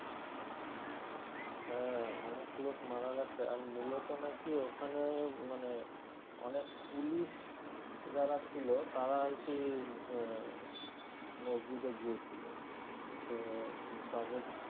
হ্যাঁ অনেক লোক মারা গেছে আর মূলত না কি ওখানে মানে অনেক পুলিশ যারা ছিলো তারা কি উম আহ মসজিদে গিয়ে তো তাদের